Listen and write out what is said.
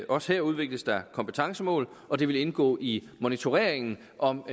også her udvikles der kompetencemål og de vil indgå i monitoreringen af om